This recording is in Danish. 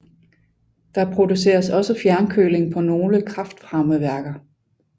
Der produceres også fjernkøling på nogle kraftvarmeværker